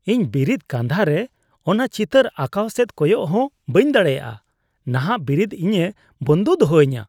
ᱤᱧ ᱵᱤᱨᱤᱫ ᱠᱟᱸᱫᱷᱟ ᱨᱮ ᱚᱱᱟ ᱪᱤᱛᱟᱹᱨ ᱟᱸᱠᱟᱣ ᱥᱮᱫ ᱠᱚᱭᱚᱜ ᱦᱚᱸ ᱵᱟᱹᱧ ᱫᱟᱲᱮᱭᱟᱜᱼᱟ; ᱱᱟᱦᱟᱜ ᱵᱤᱨᱤᱫ ᱤᱧᱮ ᱵᱚᱱᱫᱚ ᱫᱚᱦᱚᱧᱟ ᱾